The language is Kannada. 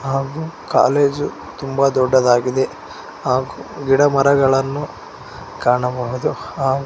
ಹಾಗು ಕಾಲೇಜು ತುಂಬ ದೊಡ್ಡದಾಗಿದೆ ಹಾಗು ಗಿಡ ಮರಗಳನ್ನು ಕಾಣಬಹುದು ಹಾಗು --